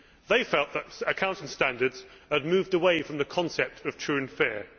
They felt that accounting standards had moved away from the concept of true and fair'.